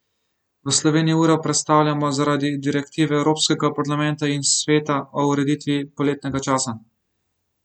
V Sloveniji uro prestavljamo zaradi direktive Evropskega parlamenta in Sveta o ureditvi poletnega časa.